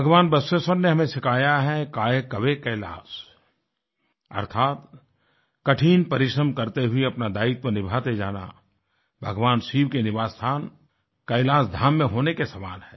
भगवान बसवेश्वर ने हमें सिखाया है कायकवे कैलास अर्थात् कठिन परिश्रम करते हुए अपना दायित्व निभाते जाना भगवान शिव के निवासस्थान कैलाश धाम में होने के समान है